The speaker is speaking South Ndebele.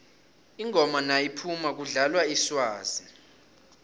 ingoma nayiphumako kudlalwa iswazi